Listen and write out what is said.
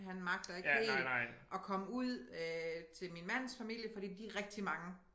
Han magter ikke helt at komme ud øh til min mands familie fordi de rigtig mange